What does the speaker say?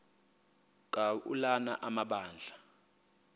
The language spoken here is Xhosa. ka ulana amabandla